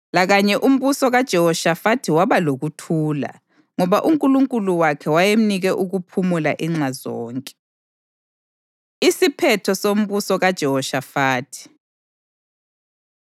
Lakanye umbuso kaJehoshafathi waba lokuthula, ngoba uNkulunkulu wakhe wayemnike ukuphumula inxa zonke. Isiphetho Sombuso KaJehoshafathi